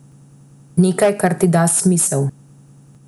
Nekaj, kar ti da smisel.